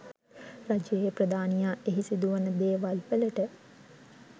රජයේ ප්‍රධානියා එහි සිදුවන දේවල්වලට